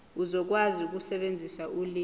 uzokwazi ukusebenzisa ulimi